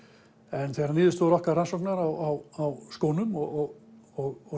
en þegar niðurstöður okkar rannsóknar á skónum og